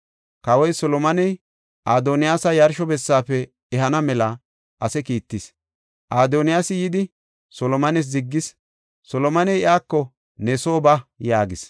Kawoy Solomoney, Adoniyaasa yarsho bessaafe ehana mela ase kiittis. Adoniyaasi yidi, Solomones ziggis; Solomoney iyako, “Ne soo ba” yaagis.